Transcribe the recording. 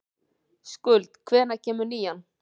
Skuld, hvenær kemur nían?